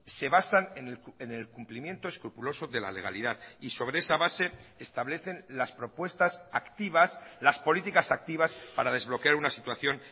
se basan en el cumplimiento escrupuloso de la legalidad y sobre esa base establecen las propuestas activas las políticas activas para desbloquear una situación